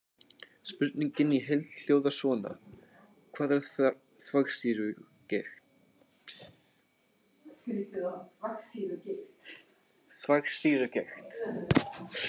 Spurningin í heild hljóðar svona: Hvað er þvagsýrugigt?